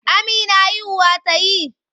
Amina haihuwa ta yi?